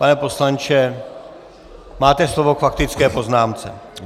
Pane poslanče, máte slovo k faktické poznámce.